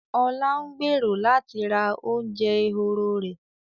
Ọlá ń gbèrò láti ra oúnjẹ ehoro rẹ̀